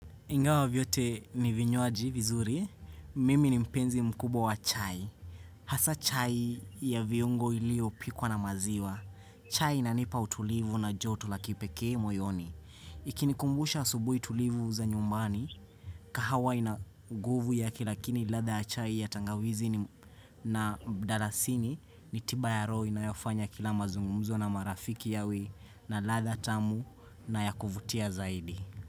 Ingawa vyote ni vinywaji vizuri. Mimi ni mpenzi mkubwa wa chai. Hasa chai ya viungo ilio pikwa na maziwa. Chai inanipa utulivu na joto la kipekee moyoni. Ikinikumbusha asubui tulivu za nyumbani, kahawai ina nguvu ya kilakini ladha ya chai ya tangawizi na mdalasini ni tiba ya rohi inayofanya kila mazungumzo na marafiki yawe na ladha tamu na yakuvutia zaidi.